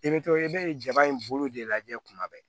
I bɛ to i bɛ jaba in bolo de lajɛ kuma bɛɛ